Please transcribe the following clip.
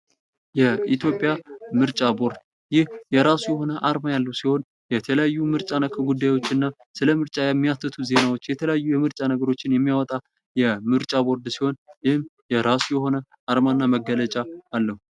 የኢትዮጵያ ምርጫ ቦርድ ይህ የራሱ የሆነ አርማ ያለው ሲሆን የተለያዩ ምርጫ ነክ ጉዳዮችን እና ስለ ምርጫ የሚያትቱ ዜናዎች የተለያዩ የምርጫ ነገሮችን የሚያወጣ የምርጫ ቦርድ ሲሆን ይህም የራሱ የሆነ አርማ እና መገለጫ አለው ።